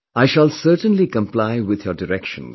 I shall certainly comply with your directions